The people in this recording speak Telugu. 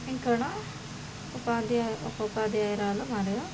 ఇక్కడ ఒక అధ్య-ఒక ఉపాధ్యాయురాలు మరియు--